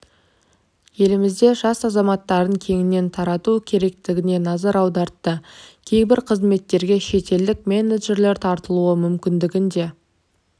еліміздің жас азаматтарын кеңінен тарту керектігіне назар аудартты кейбір қызметтерге шетелдік менеджерлер тартылуы мүмкіндігі де